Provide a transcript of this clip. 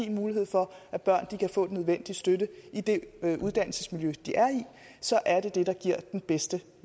en mulighed for at børn kan få den nødvendige støtte i det uddannelsesmiljø de er i så er det det der giver den bedste